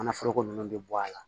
Kana foroko nunnu bɛ bɔ a la